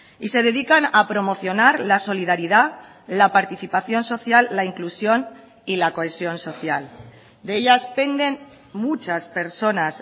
y se dedican a promocionar la solidaridad la participación social la inclusión y la cohesión social de ellas penden muchas personas